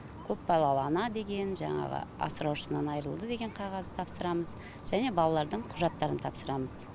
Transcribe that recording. көпбалалы ана деген жаңағы асыраушысынан айырылды деген қағаз тапсырамыз және балалардың құжаттарын тапсырамыз